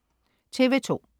TV2: